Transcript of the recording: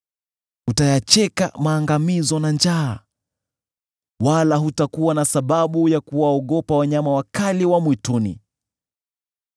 Utayacheka maangamizo na njaa, wala hutakuwa na sababu ya kuwaogopa wanyama wakali wa mwituni.